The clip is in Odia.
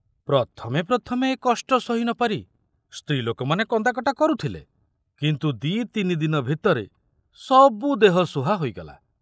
ପ୍ରଥମେ ପ୍ରଥମେ ଏ କଷ୍ଟ ସହି ନପାରି ସ୍ତ୍ରୀ ଲୋକମାନେ କନ୍ଦାକଟା କରୁଥିଲେ, କିନ୍ତୁ ଦି ତିନି ଦିନ ଭିତରେ ସବୁ ଦେହସୁହା ହୋଇଗଲା।